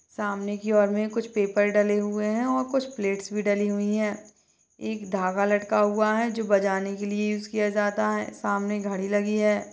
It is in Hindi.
सामने की और कुछ पेपर डले हुए है कुछ प्लेट्स डली हुई है एक धागा लटका हुआ है जो बजाने के लिए यूज़ किया जाता है सामने घड़ी लगी है।